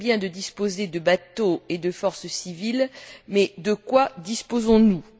C'est très bien de disposer de bateaux et de forces civiles mais de quoi disposons nous?